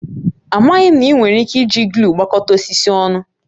Amaghị m na ị nwere ike iji gluu gbakọta osisi ọnụ